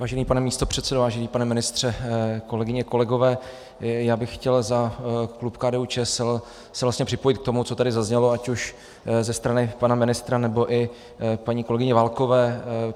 Vážený pane místopředsedo, vážený pane ministře, kolegyně, kolegové, já bych chtěl za klub KDU-ČSL se vlastně připojit k tomu, co tady zaznělo ať už ze strany pana ministra, nebo i paní kolegyně Válkové.